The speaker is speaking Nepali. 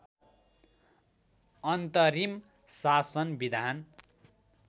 अन्तरिम शासन विधान